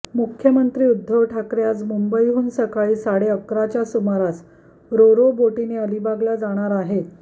मुख्यमंत्री उद्धव ठाकरे आज मुंबईहून सकाळी साडे अकराच्या सुमारास रोरो बोटीने अलिबागला जाणार आहेत